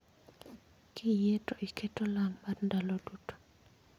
Kiyie to iket olang' mar ndalo duto